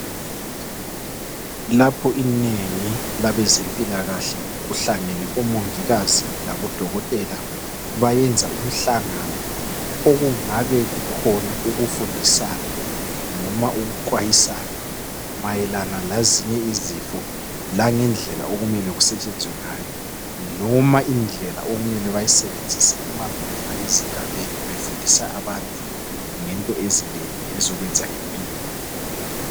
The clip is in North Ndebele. Lapho inengi labezempilakahle kuhlangene omongikazi labodokotela bayenza umhlangano okungabe kukhona ukufundisana noma ukuxwayisana mayelana lezinye izifo langendlela okumele kusetshenzwe ngayo noma indlela okumele bayisebenzise nxa bengena ezigabeni befundisa abantu ngento ezinengi ezokwenza ngempilo.